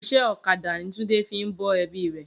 Iṣẹ́ ọ̀kadà ni Túndé fi ń bọ́ ẹbí rẹ̀